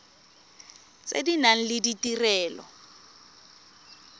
tse di nang le ditirelo